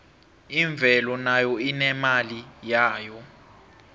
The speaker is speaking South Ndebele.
imvelo nayo inemali yayo